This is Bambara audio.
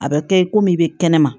A bɛ kɛ i komi i bɛ kɛnɛma